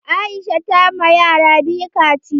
Aisha ta ma yara biyu kaciya.